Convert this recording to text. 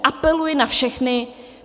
Apeluji na všechny.